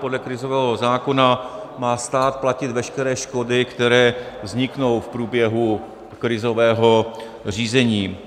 Podle krizového zákona má stát platit veškeré škody, které vzniknou v průběhu krizového řízení.